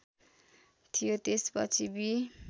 थियो त्यसपछि बि